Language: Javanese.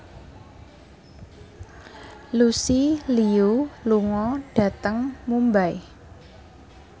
Lucy Liu lunga dhateng Mumbai